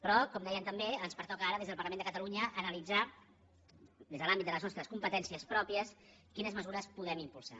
però com dèiem també ens pertoca ara des del parlament de catalunya analitzar des de l’àmbit de les nostres competències pròpies quines mesures podem impulsar